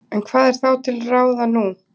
En hvað er þá til ráða nú?